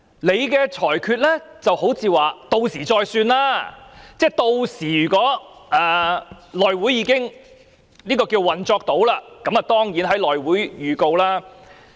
主席的裁決好像說"屆時再算"，即如果屆時內務委員會已能運作，當然便會在內會作出預告。